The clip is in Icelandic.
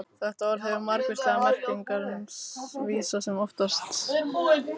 Þetta orð hefur margvíslegar merkingar sem vísa þó oftast til sjúklinga eða umönnunar sjúkra.